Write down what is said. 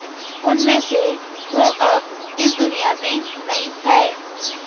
उनमें से दो अब इस दुनिया में नहीं हैं